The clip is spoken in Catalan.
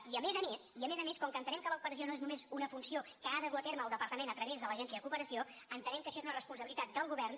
i a més a més i a més a més com que entenem que l’operació no és només una funció que ha de dur a terme el departament a través de l’agència de cooperació entenem que això és una responsabilitat del govern